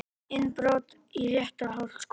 Innbrot í Réttarholtsskóla